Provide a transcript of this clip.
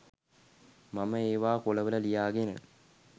මම ඒවා කොළවල ලියාගෙන